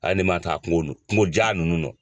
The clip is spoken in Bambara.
Hali ne ma taa kungo kungo ja nunnu nɔ.